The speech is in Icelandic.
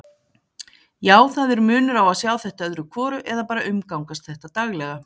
Já, það er munur á að sjá þetta öðru hvoru eða bara umgangast þetta daglega.